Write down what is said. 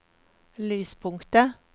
lyspunktet